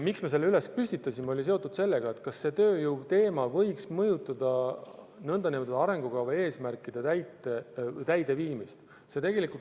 Miks me selle püstitasime, on seotud võimalusega, et tööjõu probleem võib mõjutada arengukava eesmärkide täideviimist.